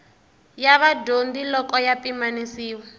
ya vadyondzi loko ya pimanisiwa